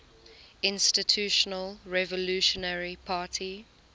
institutional revolutionary party